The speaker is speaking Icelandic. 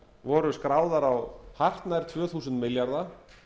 voru skráðar á hartnær tvö þúsund milljarða